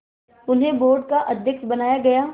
उन्हें बोर्ड का अध्यक्ष बनाया गया